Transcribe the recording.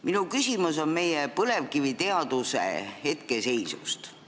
Minu küsimus on meie põlevkiviteaduse hetkeseisu kohta.